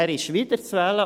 Er ist wiederzuwählen.